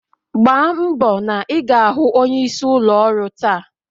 Gbambo na ị ga-ahụ onyeisi ụlọ ọrụ taa!